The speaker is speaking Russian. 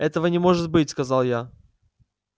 этого не может быть сказал я